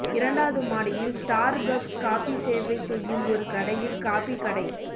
இரண்டாவது மாடியில் Starbucks coffee சேவை செய்யும் ஒரு கடையில் காபி கடை